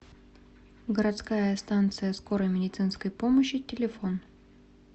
городская станция скорой медицинской помощи телефон